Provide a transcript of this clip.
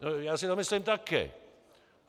Já si to myslím taky.